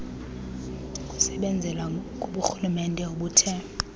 kusebenzela kuburhulumente obuthe